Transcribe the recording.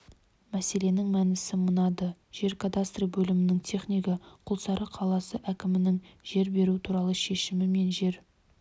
мәселенің мәнісі мынады жер кадастры бөлімінің технигі құлсары қаласы әкімінің жер беру туралы шешімі мен жер